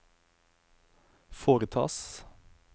foretas